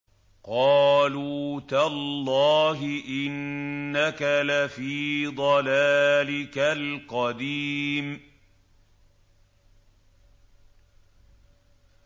قَالُوا تَاللَّهِ إِنَّكَ لَفِي ضَلَالِكَ الْقَدِيمِ